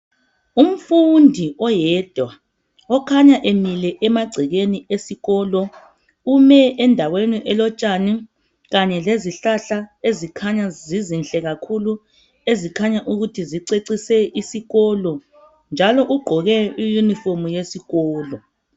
Umfundi oyedwa okhanya emile emagcekeni esikolo, ume endaweni elotshani kanye lezihlahla ezikhanya zizinhle kakhulu ezikhanya ukuthi zicecise isikolo njalo ugqoke iyunifomu yesikolo.